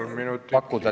Kolm minutit lisaaega.